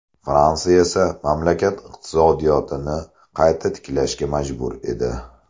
Fransiya esa mamlakat iqtisodiyotini qayta tiklashga majbur edi.